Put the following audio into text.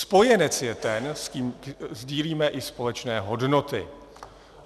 Spojenec je ten, s kým sdílíme i společné hodnoty.